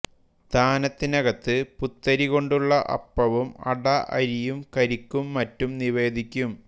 താനത്തിനകത്ത് പുത്തരി കൊണ്ടുള്ള അപ്പവും അട അരിയും കരിക്കും മറ്റും നിവേദിക്കും